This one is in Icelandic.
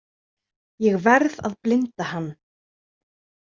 Ég verð að blinda hann